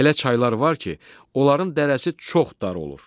Elə çaylar var ki, onların dərəsi çox dar olur.